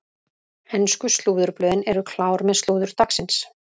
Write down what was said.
Ensku slúðurblöðin eru klár með slúður dagsins.